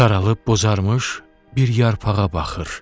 Saralıb bozarmış bir yarpağa baxır.